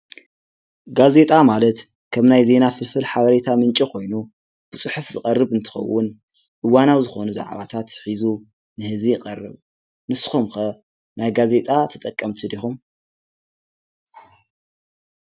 ጋዜጣ ማለት ከም ናይ ዜና ፍልፍል ሓበሬታ ምንጪ ኾይኑ ብፅሑፍ ዝቐርብ እንትኸውን እዋናዊ ዝኮኑ ዛዕባታት ሒዙ ንህዝቢ ይቐረብ። ንስኹም ከ ናይ ጋዜጣ ተጠቐምቲ ዲኹም?